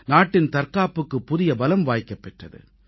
நாட்டின் தற்காப்புக்குப் புதிய பலம் வாய்க்கப் பெற்றது